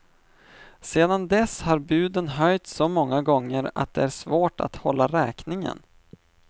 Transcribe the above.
Sedan dess har buden höjts så många gånger att det är svårt att hålla räkningen.